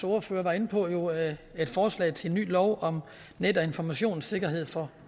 ordfører var inde på et forslag til en ny lov om net og informationssikkerhed for